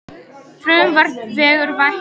Frumvarp vekur væntingar